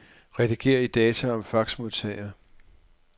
Rediger i data om faxmodtager.